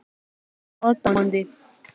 Ertu aðdáandi?